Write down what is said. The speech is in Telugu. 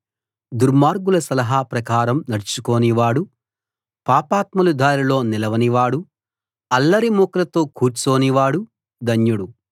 దుర్మార్గుల సలహా ప్రకారం నడుచుకోనివాడు పాపాత్ముల దారిలో నిలవనివాడు అల్లరి మూకలతో కూర్చోని వాడు ధన్యుడు